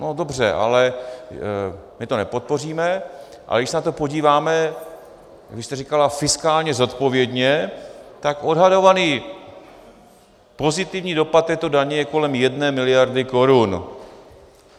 No dobře, ale my to nepodpoříme, ale když se na to podíváme, vy jste říkala fiskálně zodpovědně, tak odhadovaný pozitivní dopad této daně je kolem jedné miliardy korun.